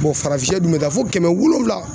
farafin sɛ dun bɛ taa fo kɛmɛ wolonwula